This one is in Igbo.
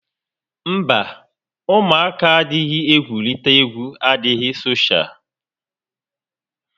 Mba, ụmụaka n'adịghị egwurita égwú adịghị soshaal